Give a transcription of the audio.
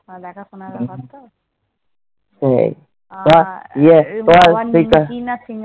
দেখাশোনার ব্যাপার তো।